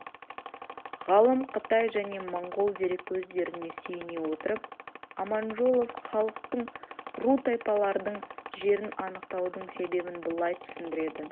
ғалым қытай және моңғол дереккөздеріне сүйене отырып аманжолов халықтың ру тайпалардың жерін анықтаудың себебін былай түсіндіреді